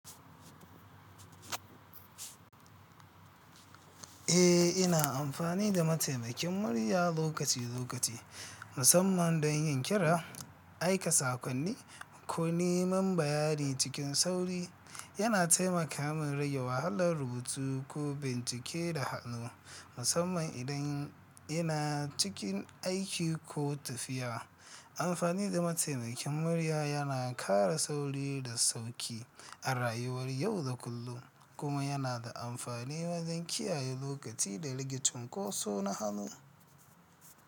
Eh, ina amfani da mataimakin murya lokaci-lokaci, musamman don yin kira, aika saƙonni, ko neman bayani cikin sauri. Yana taimaka min rage wahalar rubutu ko bincike da hannu, musamman idan ina cikin aiki ko tafiya. Amfani da mataimakin murya yana ƙara sauri da sauƙi a rayuwar yau da kullum, kuma yana da amfani wajen kiyaye lokaci da rare cinkoso na hannu.